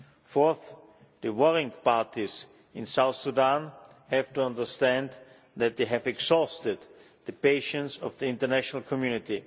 Fourth, the warring parties in South Sudan have to understand that they have exhausted the patience of the international community.